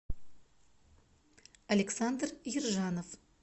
александр ержанов